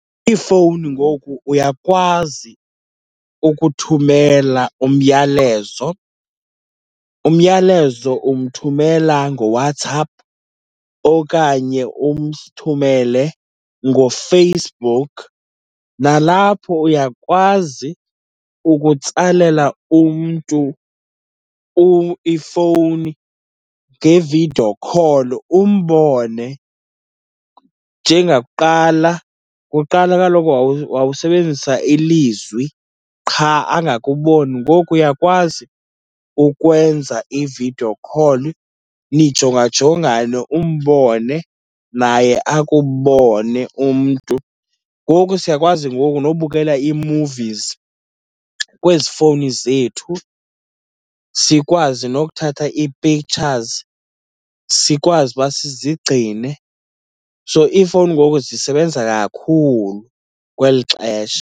Iifowuni ngoku uyakwazi ukuthumela umyalezo. Umyalezo umthumela ngoWhatsApp okanye umthumele ngoFacebook. Nalapho uyakwazi ukutsalela umntu ifowuni nge-video call, umbone. Njengakuqala, kuqala kaloku wawusebenzisa ilizwi qha angakuboni, ngoku uyakwazi ukwenza i-video ccall nijongajongane, umbone naye akubone umntu. Ngoku siyakwazi ngoku nobukela ii-movies kwezi fowuni zethu, sikwazi nokuthatha ii-pictures, sikwazi uba sizigcine. So iifowuni ngoku zisebenza kakhulu kweli xesha.